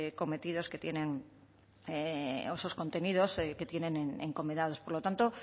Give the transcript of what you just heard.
contenidos que tienen encomendados por lo tanto